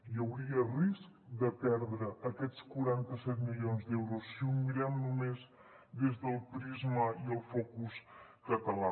hi hauria risc de perdre aquests quaranta set milions d’euros si ho mirem només des del prisma i el focus català